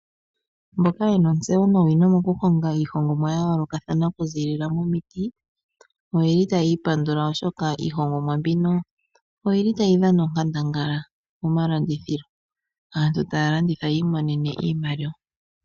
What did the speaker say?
Mboka ye na ontseyo nowino mokuhonga iihongomwa ya yoolokathana okuziilila momiti oye li taya ipandula oshoka iihongomwa mbino oyi li tayi dhana onkandangala momalandithilo. Aantu taya landitha yi imonene iimaliwa.